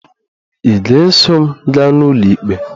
Ị ga-eso m gaa n'ụlọikpe?